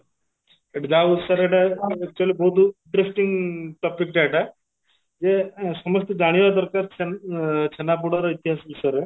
ଏଠି actually ବହୁତ interesting topic ଟା ଏଇଟା ଯେ ସମସ୍ତେ ଜାଣିବା ଦରକାର ଅ ଛେନାପୋଡର ଇତିହାସ ବିଷୟରେ